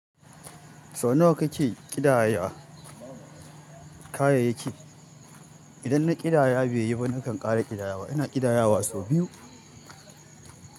Sau nawa kake ƙidaya kayayyaki? Idan na ƙidaya baiyi ba nakan ƙare ƙidayawa. Ina ƙidaya wa sau biyu.